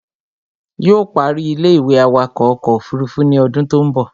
Yóò ó parí ilé-ìwé awakọ̀ ọkọ̀ òfurufú ní odún tó ń bọ̀